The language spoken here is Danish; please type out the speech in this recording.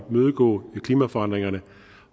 imødegå klimaforandringerne